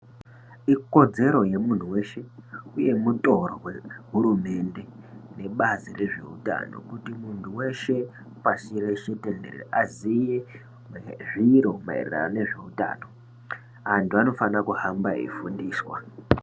Ikodzero yemuntu weshe uye mutoro wehurunde nebazi rezveutano kuti muntu weshe pashi reshe tendere aziye zviro maererano nezveutano. Antu anofana kuhamba eifundiswa.